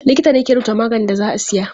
Likita ne ke rubuta maganin da za a siya.